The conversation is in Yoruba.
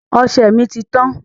Ọsẹ mi ti tán